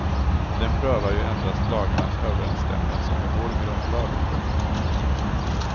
Den prövar ju endast lagarnas överensstämmelse med vår grundlag. punkt